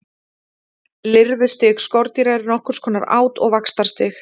Lirfustig skordýra er nokkurs konar át- og vaxtarstig.